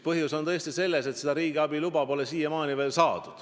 Põhjus on selles, et riigiabiluba pole siiamaani veel saadud.